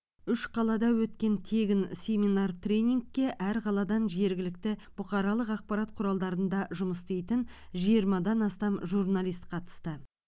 үш қалада өткен тегін семинар тренингке әр қаладан жергілікті бұқаралық ақпарат құралдарында жұмыс істейтін жиырмадан астам журналист қатысты